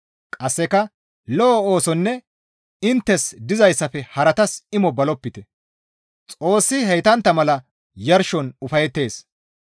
Qasseka lo7o oosonne inttes dizayssafe haratas imo balopite; Xoossi heytantta mala yarshon ufayettees.